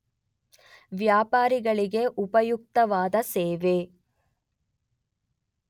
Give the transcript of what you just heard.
ವ್ಯಾಪಾರಿಗಳಿಗೆ ಉಪಯುಕ್ತವಾದ ಸೇವೆ.